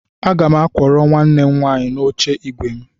Aga m akwọrọ nwanne m nwaanyị n'oche ígwè m.